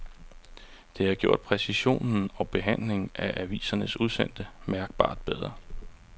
Det har gjort præcisionen og behandlingen af avisernes udsendte mærkbart bedre.